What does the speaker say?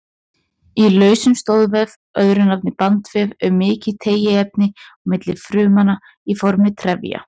Í lausum stoðvef, öðru nafni bandvef, er mikið tengiefni á milli frumnanna í formi trefja.